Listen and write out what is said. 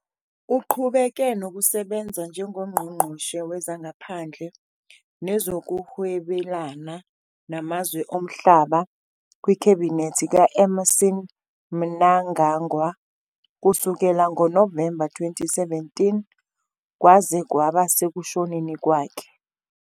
Uqhubeke nokusebenza njengoNgqongqoshe Wezangaphandle Nezokuhwebelana Namazwe Omhlaba kwikhabhinethi ka- Emmerson Mnangagwa kusukela ngoNovemba 2017 kwaze kwaba sekushoneni kwakhe.